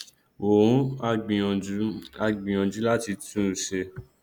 wọn á gbìyànjú á gbìyànjú láti tún un ṣe